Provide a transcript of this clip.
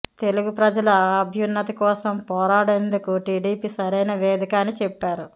తెలుగు ప్రజల అభ్యున్నతి కోసం పోరాడేందుకు టీడీపీ సరైన వేదిక అని చెప్పారు